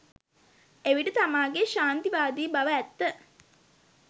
එවිට තමාගේ ක්ෂාන්තිවාදී බව ඇත්ත